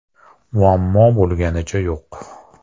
Muammo bo‘lganicha yo‘q.